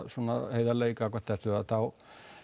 heiðarleg gagnvart þessu þá